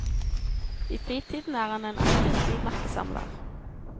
I fritiden er han en aktiv frimerkesamler.